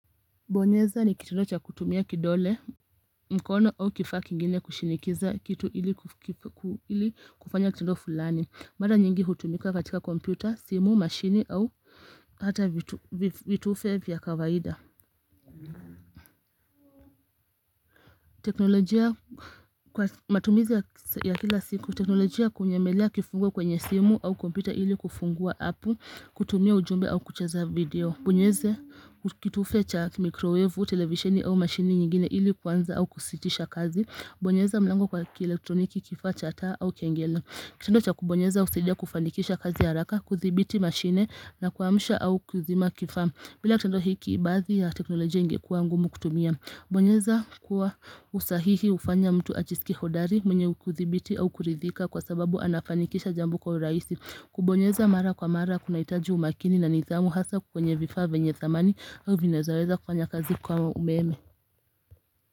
Kubonyeza ni kitendo cha kutumia kidole, mkono au kifaa kingine kushinikiza kitu ili kufanya kitendo fulani. Mara nyingi hutumika katika kompyuta, simu, mashini au hata vitufe vya kawaida. Teknolojia kwa matumizi ya kila siku, teknolojia kunyemelea kifungo kwenye simu au kompyuta ili kufungua apu, kutumia ujumbe au kucheza video. Bonyeze kitufe cha mikrowevu, televisieni au mashini nyingine ili kuanza au kusitisha kazi. Bonyeza mlango kwa kielektroniki kifaa cha taa au kengele. Kitendo cha kubonyeza husaidia kufanikisha kazi haraka, kuthibiti mashine na kuamsha au kuzima kifaa. Bila kitendo hiki baadhi ya teknolojia ingekuwa ngumu kutumia. Kubonyeza kwa usahihi ufanya mtu ajiskie hodari, mwenye kudhibiti au kuridhika kwa sababu anafanikisha jambo kwa uraisi. Kubonyeza mara kwa mara kunahitaji umakini na nidhamu, hasa kwenye vifaa venye thamani au vinavyo weza kufanya kazi kwa umeme.